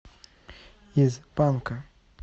из панка